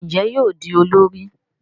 Njé yóò di olórí?